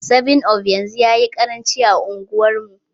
7up yanzu yayi karanci a unguwar mu